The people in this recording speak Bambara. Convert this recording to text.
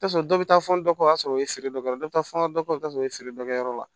Taa sɔrɔ dɔ bɛ taa fɔ dɔ kɔ o y'a sɔrɔ o ye feere dɔ ye dɔ bɛ taa fɔ n ka dɔ kɛ o t'a sɔrɔ o ye feere dɔ kɛ yɔrɔ la